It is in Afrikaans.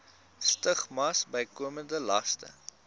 stigmas bykomende laste